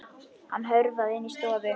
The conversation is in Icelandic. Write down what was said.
Hann hörfaði inn í stofu.